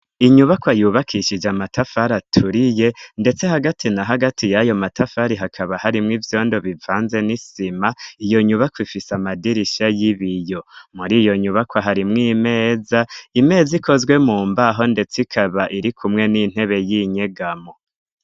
Inyubakwa yubakishije amatafari aturiye, ndetse hagati na hagati y'ayo matafari hakaba harimw ivyondo bivanze n'isima, iyo nyubakwa ifise amadirisha y'ibiyo, muri iyo nyubakwa harimwo imeza ikozwe mu mbaho, ndetse ikaba iri kumwe n'intebe y'inyegamo.